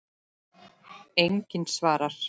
Enginn svarar.